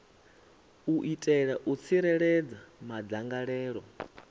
u itela u tsireledza madzangalelo